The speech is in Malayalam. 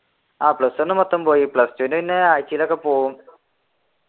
ആഹ് plus one മൊത്തം പോയി plus two ഇൽ പിന്നെ ആഴ്ചയിലൊക്കെ പോകും